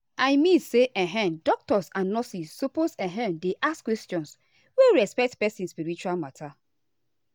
i mean say[um]doctors and nurses suppose[um]dey ask questions wey respect person spiritual matter.